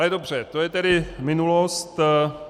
Ale dobře, to je tedy minulost.